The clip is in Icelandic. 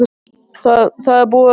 Það er búið að reyna allt.